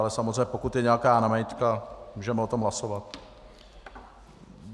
Ale samozřejmě pokud je nějaká námitka, můžeme o tom hlasovat.